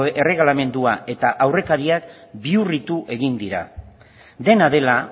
erregelamendua eta aurrekariak bihurritu egin dira dena dela